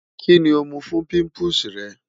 Kini o mu fun pimples rẹ?